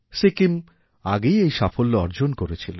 সিকিম আগেই এই সাফল্য অর্জন করেছিল